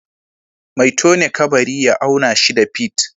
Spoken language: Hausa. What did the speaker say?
Mai tone kabari ya auna shida fit